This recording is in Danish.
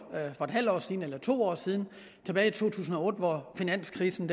for en halv år siden eller for to år siden tilbage i to tusind og otte hvor finanskrisen